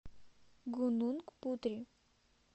гунунг путри